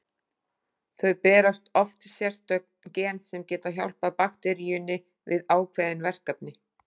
Þau bera oft sérstök gen sem geta hjálpað bakteríunni við ákveðin verkefni.